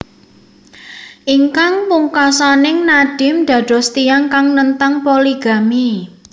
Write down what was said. Ingkang pungkasaning Nadim dados tiyang kang nentang poligami